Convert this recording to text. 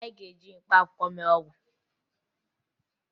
Anyị ga-eji mkpaakwụkwọ mee ọgwụ